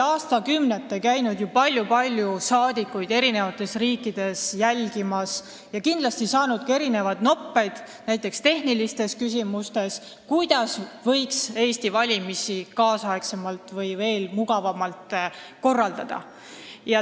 Aastakümnete jooksul on ju paljud-paljud saadikud käinud eri riikides valimisi jälgimas ja kindlasti noppinud sealt välja teadmisi, näiteks tehnilistes küsimustes, kuidas võiks Eestis valimisi nüüdisaegsemalt või veel mugavamalt korraldada.